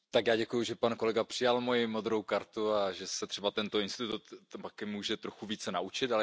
Já děkuji, že pan kolega přijal moji modrou kartu a že se třeba tento institut také může trochu více naučit.